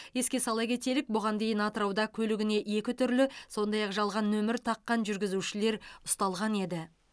еске сала кетелік бұған дейін атырауда көлігіне екі түрлі сондай ақ жалған нөмір таққан жүргізушілер ұсталған еді